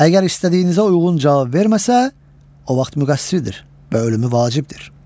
Əgər istədiyinizə uyğun cavab verməsə, o vaxt müqəssirdir və ölümü vacibdir.